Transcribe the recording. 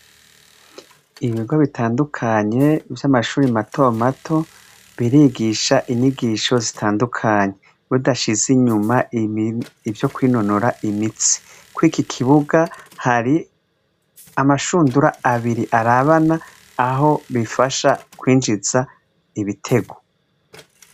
Ibigo bitandukanye vy'amashure mato mato, birigisha inyigisho zitandukanye. Badashize inyuma ivyo kwinonora imitsi. Kw'iki kibuga hari amashundura abiri arabana, aho bifasha kwinjiza ibitego.